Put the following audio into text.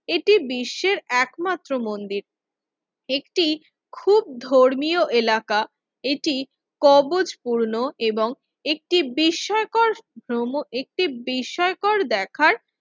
এটি বিশ্বের একমাত্র মন্দির একটি খুব ধর্মীয় এলাকা এটি কবজ পূর্ণ এবং একটি বিস্ময়কর ভ্রমণ একটি বিস্ময়কর দেখার